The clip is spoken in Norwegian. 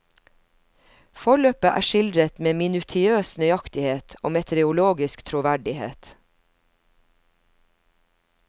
Forløpet er skildret med minutiøs nøyaktighet og meteorologisk troverdighet.